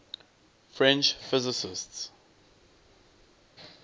french physicists